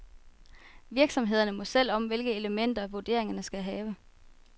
Virksomhederne må selv om, hvilke elementer, vurderingerne skal have.